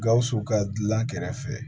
Gawusu ka dilan kɛrɛfɛ